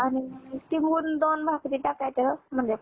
आणि वरून दोन भाकरी टाकायचं म्हटलं.